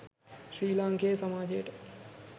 ශ්‍රී ලාංකේය සමාජයට